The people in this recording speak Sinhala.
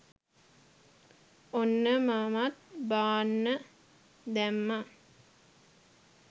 ඔන්න මමත් බාන්න දැම්මා